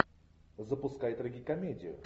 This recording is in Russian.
запускай трагикомедию